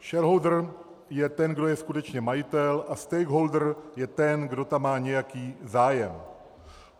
Shareholder je ten, kdo je skutečně majitel, a stakeholder je ten, kdo tam má nějaký zájem.